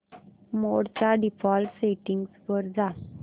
मोड च्या default settings वर जा